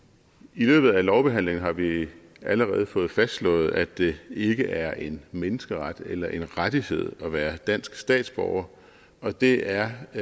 i løbet af lovbehandlingen har vi allerede fået fastslået at det ikke er en menneskeret eller en rettighed at være dansk statsborger og det er